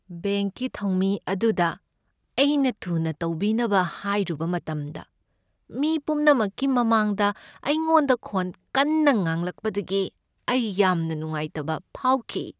ꯕꯦꯡꯛꯀꯤ ꯊꯧꯃꯤ ꯑꯗꯨꯗ ꯑꯩꯅ ꯊꯨꯅ ꯇꯧꯕꯤꯅꯕ ꯍꯥꯏꯔꯨꯕ ꯃꯇꯝꯗ ꯃꯤ ꯄꯨꯝꯅꯃꯛꯀꯤ ꯃꯃꯥꯡꯗ ꯑꯩꯉꯣꯟꯗ ꯈꯣꯟ ꯀꯟꯅ ꯉꯥꯡꯂꯛꯄꯗꯒꯤ ꯑꯩ ꯌꯥꯝꯅ ꯅꯨꯡꯉꯥꯏꯇꯕ ꯐꯥꯎꯈꯤ ꯫